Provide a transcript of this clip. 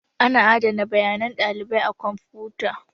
Ana adana bayanan ɗalibai a kwamfuta.